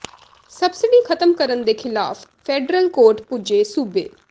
subsidy ਖ਼ਤਮ ਕਰਨ ਦੇ ਖਿਲਾਫ਼ ਫੈਡਰਲ ਕੋਰਟ ਪੁੱਜੇ ਸੂਬੇ